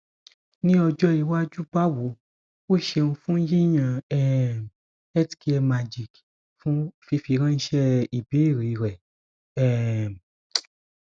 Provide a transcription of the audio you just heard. ní ọjọ iwájú bawo o ṣeun fun yiyan um health care magic fun fifiranṣẹ ibeere rẹ um